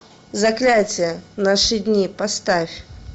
заклятие наши дни поставь